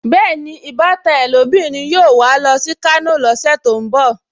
Bẹ́ẹ̀ni, ìbátan ẹ́ lóbìnrin yóò wà á lọ sí Kano lọ́sẹ̀ tó ń bọ̀